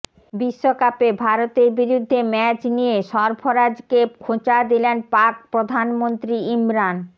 বিশ্বকাপে ভারতের বিরুদ্ধে ম্যাচ নিয়ে সরফরাজকে খোঁচা দিলেন পাক প্রধানমন্ত্রী ইমরান